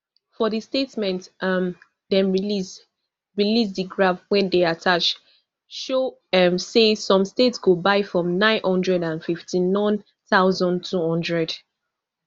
for di statement um dem release release di graph wey dey attached show um say some states go buy from nnine hundred and fiftynone thousand, two hundred